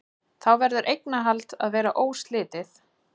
Þá verður eignarhald að vera óslitið.